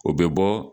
O bɛ bɔ